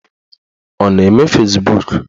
Ọ na-eme Fezbuk?